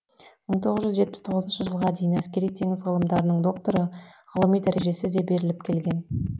мың тоғыз жүз жетпіс тоғызыншы жылға дейін әскери теңіз ғылымдарының докторы ғылыми дәрежесі де беріліп келген